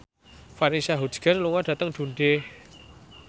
Vanessa Hudgens lunga dhateng Dundee